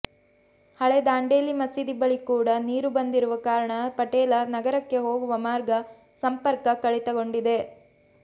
ಹಳೇ ದಾಂಡೇಲಿ ಮಸೀದಿ ಬಳಿ ಕೂಡ ನೀರು ಬಂದಿರುವ ಕಾರಣ ಪಟೇಲ ನಗರಕ್ಕೆ ಹೋಗುವ ಮಾರ್ಗ ಸಂಪರ್ಕ ಕಡಿತಗೊಂಡಿದೆ